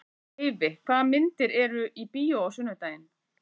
Eyfi, hvaða myndir eru í bíó á sunnudaginn?